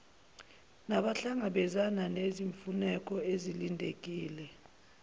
nabahlangabezana nezimfuneko ezilindelekile